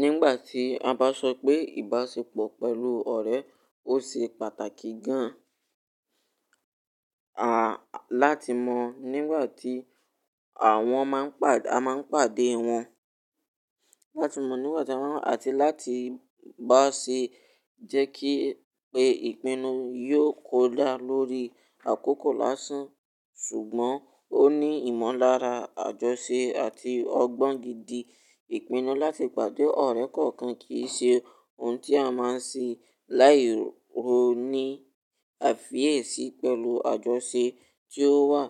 Nígbà tí a bá sọ pé ìbáṣepọ̀ pẹ̀lú ọ̀rẹ́, ó ṣe pàtàkì gan-an, a, láti mọ̀ nígbà tí, àwọn máa ń pàdé, a máa ń pàdé wọn, láti mọ̀ nígbà tí àwọn, àti láti bá ṣe jẹ́ kí pé ìpinnu yóò kó dá lórí àkókò lásán. Ṣùgbọ́n ó ní ìmọ̀lára, àjọṣe àti ọgbọ́n gidi. Ìpinnu láti pàdé ọ̀rẹ́ kọ̀ọ̀kan kì í ṣe ohun tí a máa ń ṣe láì róní àfi èsì pẹ̀lú àjọṣe tí ó wà,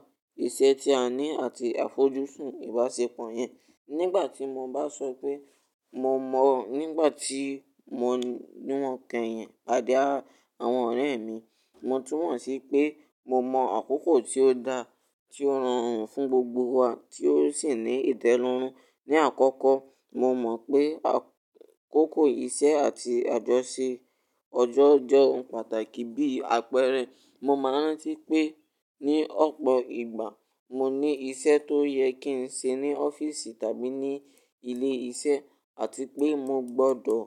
iṣẹ́ tí a ní àti àfojúsùn ìbáṣepọ̀ yẹn. Nígbà tí mo bá sọ pé, mo mọ̀ nígbà tí mo niwon kẹ́yìn padé àwọn ọ̀rẹ́ mi, mo tún mọ̀ sí pé mo mọ̀ àkókò tí ó dá, tí ó rorun fún gbogbo wa tí ó sì ní ìtẹ́lọ́rùn. Ni àkọ́kọ́, mo mọ̀ pé àkókò iṣẹ́ àti àjọṣe ọjọ́ jọ pàtàkì. Bí àpẹẹrẹ, mo máa ń rántí pé ní ọ̀pọ̀ ìgbà mo ní iṣẹ́ tó yẹ kí n ṣe ní ọ́fíìsì tàbí ní ilé iṣẹ́ àti pé mo gbọdọ̀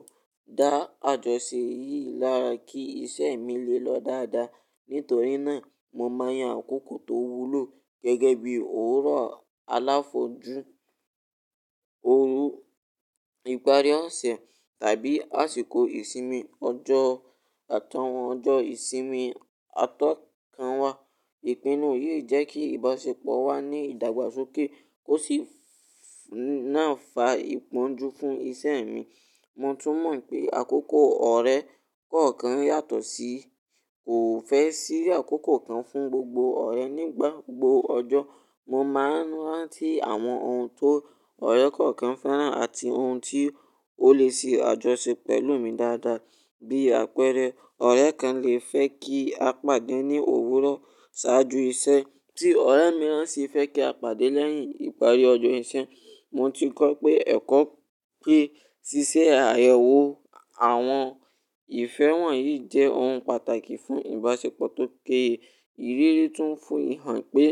dá àjọṣe yìí lára kí iṣẹ́ mi lè lọ dáadáa. Nítorí náà, mo mọ̀ yàn àkókò tó wúlò gẹ́gẹ́ bí òwúrọ̀ aláfọ jú, òru, ìparí ọ̀sẹ̀ tàbí àsìkò ìsinmi ọjọ́, àtọ̀hún ọjọ́ ìsinmi atọ́kanwá. Ìpinnu yìí jẹ́ kí ìbáṣepọ̀ wa ní ìdàgbàsókè kó sì ná fà ìpọ́njú fún ìṣe mi. Mo tún mọ̀ pé àkókò ọ̀rẹ́ kọ̀ọ̀kan yàtọ̀ sí, kò fẹ́ sí àkókò kan fún gbogbo ọ̀rẹ́ nígbà gbogbo ọjọ́. Mo máa ń rántí àwọn ohun tó ọ̀rẹ́ kọ̀ọ̀kan fẹ́ràn àti ohun tí ó lè ṣe àjọṣe pẹ̀lú mi dáadáa. Bí àpẹẹrẹ, ọ̀rẹ́ kan lè fẹ́ kí a pàdé ní òwúrọ̀ ṣáájú iṣẹ́ tí ọ̀rẹ́ mìíràn sì fẹ́ kí a pàdé lẹ́yìn ìparí ọjọ́ iṣẹ́. Mo ti kọ́ ẹkọ́ pé ṣíṣe àyẹ̀wò àwọn ìfẹ́ wọ̀nyí jẹ́ ohun pàtàkì fún ìbáṣepọ̀ tó kéye. Ìrírí tún fún mi hàn pé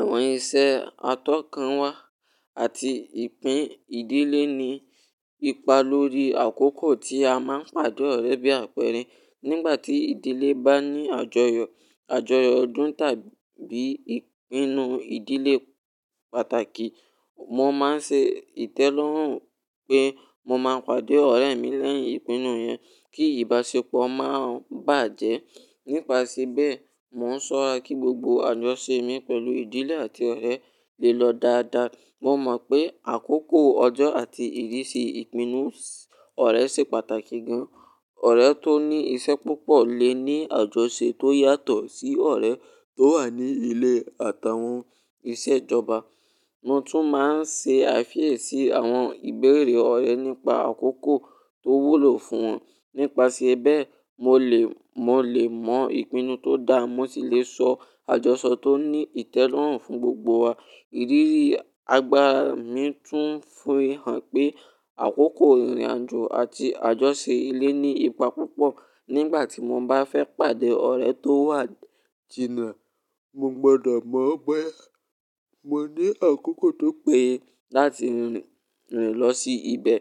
àwọn iṣẹ́ atọ́kanwá àti ìpín ìdílé ní ipa lórí àkókò tí a máa ń pàdé ọ̀rẹ́ bí àpẹẹrẹ. Nígbà tí ìdílé bá ní àjọyọ̀, àjọyọ̀ ọdún tàbí ìpinnu ìdílé pàtàkì, mo máa ń ṣe ìtẹ́lọ́rùn pé mo máa pàdé ọ̀rẹ́ mi lẹ́yìn ìpinnu yẹn kí ìbáṣepọ̀ máa bàjẹ́. Nípasẹ̀ bẹ́ẹ̀, mò ń ṣọ́ra kí gbogbo àjọṣe mi pẹ̀lú ìdílé àti ọ̀rẹ́ lè lọ dáadáa. Mo mọ̀ pé àkókò ọjọ́ àti ìdí si ìpinnu ọ̀rẹ́ ṣe pàtàkì gan-an. Ọ̀rẹ́ tó ní iṣẹ́ púpọ̀ lè ní àjọṣe tó yàtọ̀ sí ọ̀rẹ́ tó wà ní ilé àtàwọn iṣẹ́ ìjọba. Mo tún máa ń ṣe àfi èsì àwọn ìbéèrè ọ̀rẹ́ nípa àkókò tó wúlò fún wọn. Nípasẹ̀ bẹ́ẹ̀, mo lè, mo lè mọ ìpinnu tó dáa mo sì lè sọ àjọṣọ tó ní ìtẹ́lọ́rùn fún gbogbo wa. Ìrírí àgbà mi tún fún mi hàn pé àkókò ìrìnàjò àti àjọṣe ilé ní ipa púpọ̀. Nígbà tí mo bá fẹ́ pàdé ọ̀rẹ́ tó wà jìnà, mo gbọdọ̀ mọ̀ bóyá mo ní àkókò tó péye láti rìn lọ sí ibẹ̀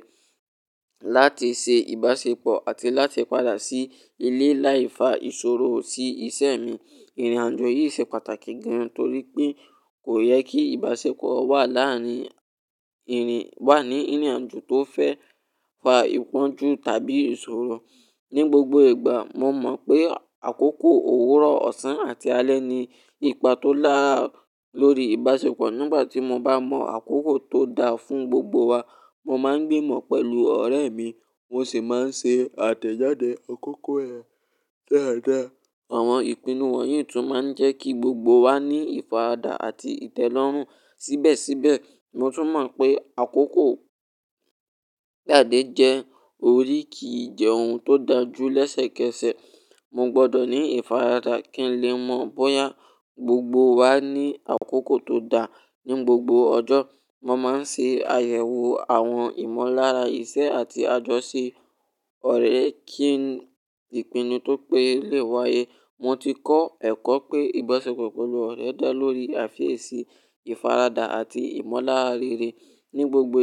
láti ṣe ìbáṣepọ̀ àti láti padà sí ilé láì fa ìṣòro sí ìṣe mi. Ìrìnàjò yìí ṣe pàtàkì gan-an torí pé kò yẹ kí ìbáṣepọ̀ wà láàárín ìrìn, wà ní ìrìnàjò tó fẹ́ fà ìpọ́njú tàbí ìṣòro. Ni gbogbo ìgbà, mo mọ̀ pé àkókò òwúrọ̀, ọ̀sán àti alẹ́ ní ipa tó lára lórí ìbáṣepọ̀. Nígbà tí mo bá mọ àkókò tó dáa fún gbogbo wa, mo máa ń gbimọ̀ pẹ̀lú ọ̀rẹ́ mi mo sì máa ń ṣe àtẹ̀jáde àkókò ẹ dáadáa. Àwọn ìpinnu wọ̀nyí tún máa ń jẹ́ kí gbogbo wa ní ìfaradà àti ìtẹ́lọ́rùn síbẹ̀síbẹ̀. Mo tún mọ̀ pé àkókò gbádé jẹ́ orí kì í jẹ́ ohun tó da jú lẹ́sẹ̀kẹsẹ̀. Mo gbọdọ̀ ní ìfaradà kí n lè mọ̀ bóyá gbogbo wa ní àkókò tó dáa ní gbogbo ọjọ́. Mo máa ń ṣe àyẹ̀wò àwọn ìmọ̀lára iṣẹ́ àti àjọṣe ọ̀rẹ́ kí ìpinnu tó péye lè wáyé. Mo ti kọ́ ẹ̀kọ́ pé ìbáṣepọ̀ pẹ̀lú ọ̀rẹ́ dá lórí àfi èsì, ìfaradà àti ìmọ̀lára rere ní gbogbo.